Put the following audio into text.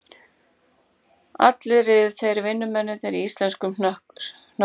Allir riðu þeir vinnumennirnir í íslenskum hnökkum